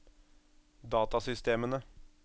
datasystemene